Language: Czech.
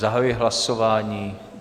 Zahajuji hlasování.